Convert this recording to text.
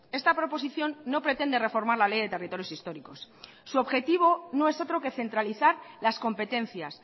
esta proposición no pretende reformar la ley de territorios históricos su objetivo no es otro que centralizar las competencias